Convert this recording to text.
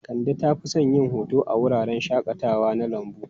Kande ta fi son yin hoto a wuraren shakatawa na lambu.